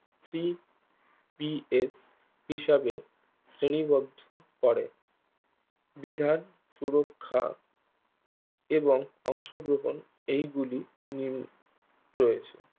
CPA এর হিসাবে শ্রেণীবদ্ধ করে বিধান সুরক্ষা এবং অংশগ্রহন এইগুলি উম রয়েছে